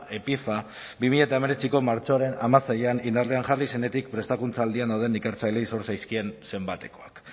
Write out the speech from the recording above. epifa bi mila hemeretziko martxoaren hamaseian indarrean jarri zenetik prestakuntza aldian dauden ikertzaileei zor zitzaizkien zenbatekoak